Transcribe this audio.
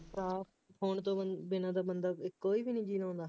ਉਹ ਭਰਾ ਫੋਨ ਤੋਂ ਬਿਨ ਬਿਨਾ ਤਾਂ ਬੰਦਾ ਕੋਈ ਵੀ ਨਹੀਂ ਜੀਅ ਲਾਉਂਦਾ,